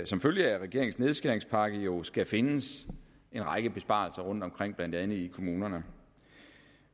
som følge af regeringens nedskæringspakke jo skal findes en række besparelser rundtomkring blandt andet i kommunerne